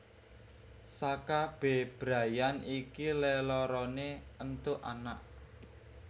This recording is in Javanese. Saka bebrayan iki leloroné éntuk anak